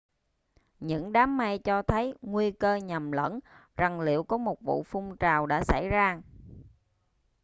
những đám mây cho thấy nguy cơ nhầm lẫn rằng liệu có một vu phun trào đã xảy ra